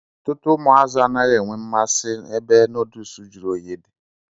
Ọtutu umu azu adighi enwe mmasi ebe nọduls jiri oyi di.